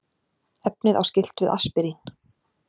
efnið á skylt við aspirín